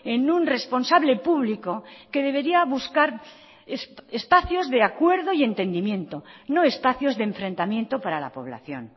en un responsable público que debería buscar espacios de acuerdo y entendimiento no espacios de enfrentamiento para la población